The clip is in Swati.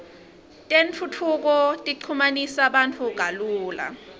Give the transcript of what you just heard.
tentfutfuko ichumanisa bantfu kalula